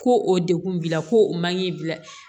Ko o degun b'i la ko o man k'i bila